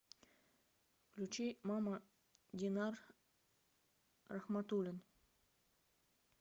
включи мама динар рахматуллин